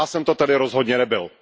Já jsem to tedy rozhodně nebyl.